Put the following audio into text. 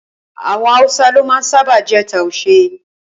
Awọn awusa lo ma sábà je tuashe